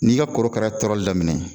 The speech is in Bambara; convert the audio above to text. N'i ka korokara ye tɔɔrɔli daminɛ